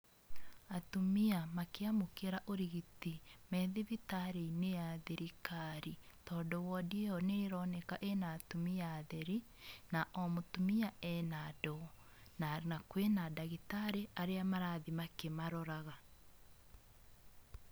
Atumia makĩamũkĩra ũrigiti me thibitarĩ-inĩ ya thirikari, tondũ wondi ĩyo nĩ ĩroneka ĩna atumia atheri, na o mũtumia ena ndoo, na kwĩna ndagĩtarĩ arĩa marathiĩ makĩmaroraga.